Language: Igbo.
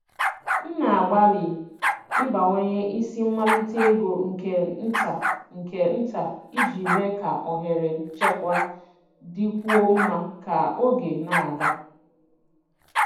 M na-agbalị ịbawanye isi mmalite ego nke nta nke nta iji mee ka ohere nchekwa dịkwuo mma ka oge na-aga.